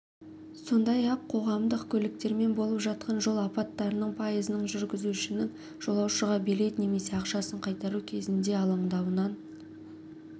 сондай-ақ қоғамдық көліктермен болып жатқан жол апаттарының пайызының жүргізушінің жолаушыға билет немесе ақшасын қайтару кезінде алаңдауынан